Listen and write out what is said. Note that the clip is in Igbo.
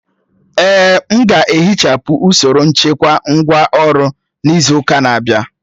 Èè, m ga-ehichapụ usoro nchekwa ngwá ọrụ n'izu ụka na-abịa